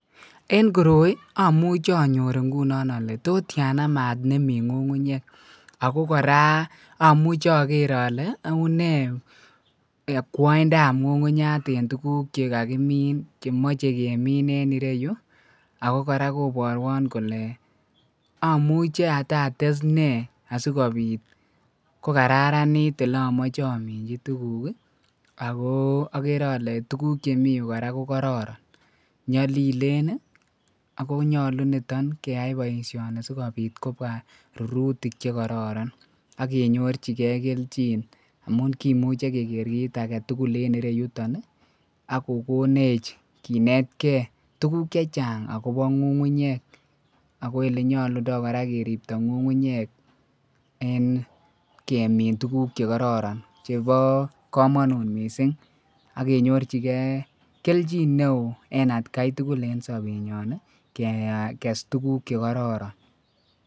en koroi omuche onyoor ngunon olee totyaana maat nemii ngungunyeek ago koraa omuche ogeer ole unee okwoindaab ngungunyaat en tuguk chegagimin en tuguk chegagimin en ireyuu ago koraa kobwotwon anai ole omuche atates nee asigobiit kogararaniit olomoche ominchi tuguk iih agoo ogere ole tuguk chemii yuu koraa kogororon, nyolilen iih ago nyolu nitoon keyaai boishoni sigobiit kobwaa rurutik chegororon agenorchigee kelchin amuun kimuche kegeer kiit agetugul en yuton iih ak kogoneech kinetkei tuguk chechang agobo ngungunyeek, agoo olenyolundoo koraa keribto ngungunyeek en kemiin tuguk chegororon chebo komonuut mising ak kenyorjigee kelchin neoo en atkai tugul en sobeet nyoon iih keges tuguk chegororon.